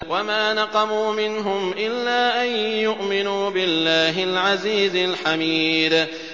وَمَا نَقَمُوا مِنْهُمْ إِلَّا أَن يُؤْمِنُوا بِاللَّهِ الْعَزِيزِ الْحَمِيدِ